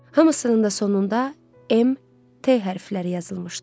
Hamısının da sonunda MT hərfləri yazılmışdı.